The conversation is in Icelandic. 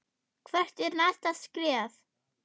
Hvert er næsta skref?